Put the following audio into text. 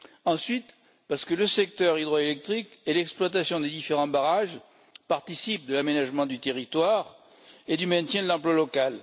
ensuite, parce que le secteur hydroélectrique et l'exploitation des différents barrages participent de l'aménagement du territoire et du maintien de l'emploi local.